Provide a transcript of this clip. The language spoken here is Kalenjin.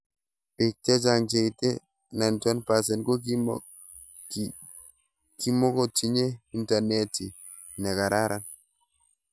Pik chechang' cheite 91% ko kimukotinye internetit ne karan